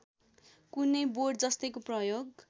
कुनै बोटजस्तैको प्रयोग